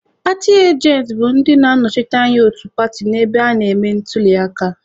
Paatị ajentị bụ ndị na-anọchite anya otu paatị n'ebe a na-eme ntuliaka.